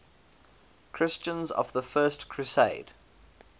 christians of the first crusade